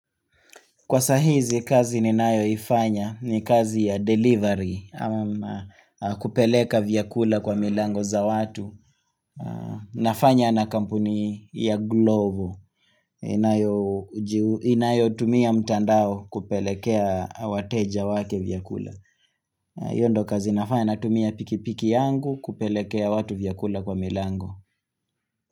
Kwa sahizi, kazi ninayo ifanya ni kazi ya delivery, ama kupeleka vyakula kwa milango za watu. Nafanya na kampuni ya glovo, inayo tumia mtandao kupelekea wateja wake vyakula. Yondo kazi nafanya na tumia pikipiki yangu kupelekea watu vyakula kwa milango.